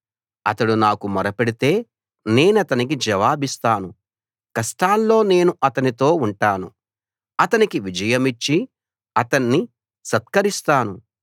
అతడు నాకు మొరపెడితే నేనతనికి జవాబిస్తాను కష్టాల్లో నేను అతనితో ఉంటాను అతనికి విజయమిచ్చి అతన్ని సత్కరిస్తాను